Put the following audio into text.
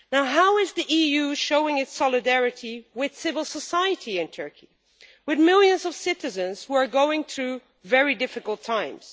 How is the EU showing its solidarity with civil society in Turkey and with millions of citizens who are going through very difficult times?